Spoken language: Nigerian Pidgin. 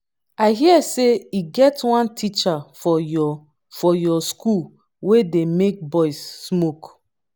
i hear say e get one teacher for your for your school wey dey make boys smoke